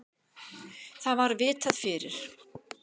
Það var vitað fyrir.